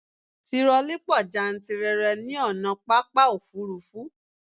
Tirọlí pọ jántìrere ní ònà pápá òfurufú